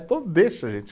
Então deixa a gente